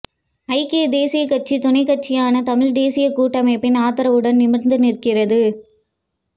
ஐக்கிய தேசியக் கட்சி துணைக்கட்சியான தமிழ் தேசியக் கூட்டமைப்பின் ஆதரவுடன் நிமிர்ந்து நிற்கிறது